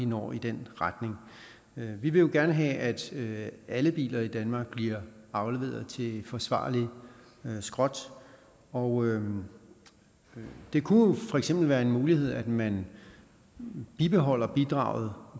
når i den retning vi vil jo gerne have at alle biler i danmark bliver afleveret til forsvarlig skrotning og det kunne for eksempel være en mulighed at man bibeholdt bidraget